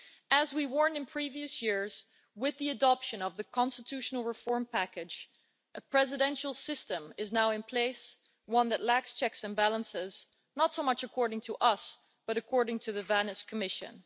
As we warned in previous years, with the adoption of the constitutional reform package, a presidential system is now in place, one that lacks checks and balances, not so much according to us but according to the Venice Commission.